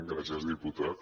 gràcies diputat